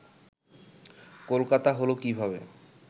কলকাতা হলো কীভাবে